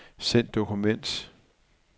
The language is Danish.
Send dokument.